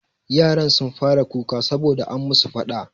Yaran sun fara kuka sabo da an musu faɗa.